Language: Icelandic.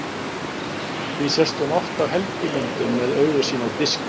Því sést hún oft á helgimyndum með augu sín á diski.